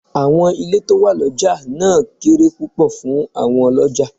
Àwọn ilé tó wà lọjà náà kéré púpọ̀ fún àwọn Ọlọ́jàá.